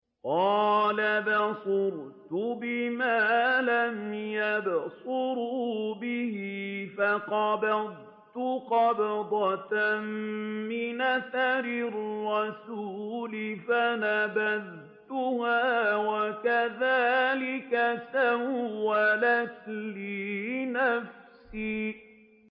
قَالَ بَصُرْتُ بِمَا لَمْ يَبْصُرُوا بِهِ فَقَبَضْتُ قَبْضَةً مِّنْ أَثَرِ الرَّسُولِ فَنَبَذْتُهَا وَكَذَٰلِكَ سَوَّلَتْ لِي نَفْسِي